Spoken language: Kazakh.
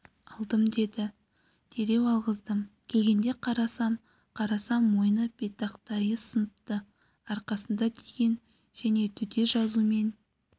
алдым деді дереу алғыздым келгенде қарасам қарасам мойны беттақтайы сыныпты арқасында деген және төте жазумен